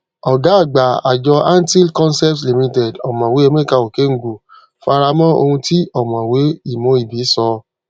ọgá àgbà àjọ anthill concepts limited ọmọwé emeka okengwu fara mọ ohun tí ọmọwé imoibe sọ